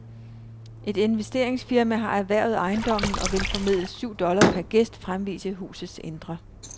Et investeringsfirma har erhvervet ejendommen og vil formedels syv dollar per gæst fremvise husets indre.